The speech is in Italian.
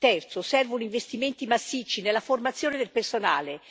Terzo servono investimenti massicci nella formazione del personale.